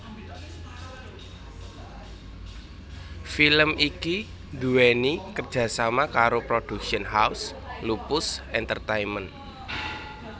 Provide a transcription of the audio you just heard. Film iki nduweni kerjasama karo Production House Lupus Entertainment